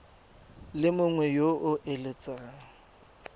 le mongwe yo o eletsang